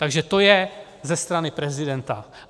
Takže to je ze strany prezidenta.